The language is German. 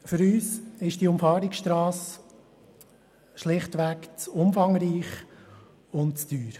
Für uns ist diese Umfahrungsstrasse schlichtweg zu umfangreich und zu teuer.